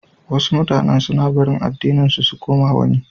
Wasu mutanan suna barin addininsu su koma wani.